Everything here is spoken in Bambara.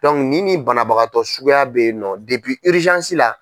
ni nin banabagatɔ suguya bɛyinɔ la.